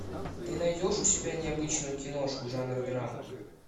ты найдешь у себя необычную киношку жанра драма